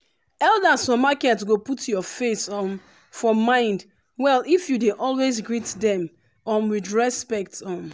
elders for market go put your face um for mind well if you dey always greet them um with respect. um